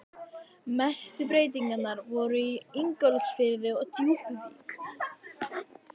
Mestu breytingarnar voru í Ingólfsfirði og Djúpuvík.